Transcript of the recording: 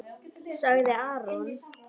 ., sagði Arnór.